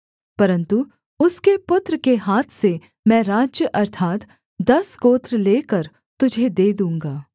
परन्तु उसके पुत्र के हाथ से मैं राज्य अर्थात् दस गोत्र लेकर तुझे दे दूँगा